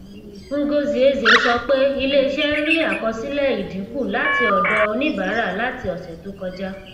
ngozi eze sọ pé iléiṣẹ ń rí àkọsílẹ ìdínkù láti ọdọ oníbàárà láti ọsẹ tó kọjá